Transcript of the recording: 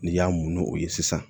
N'i y'a mu o ye sisan